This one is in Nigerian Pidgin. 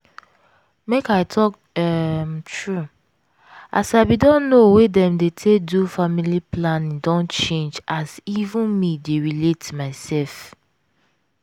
make i talk um true as i bin don know way dem dey take do family planning don change as even me take dey relate mysef.